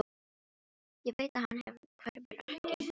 Ég veit að hann hverfur ekki.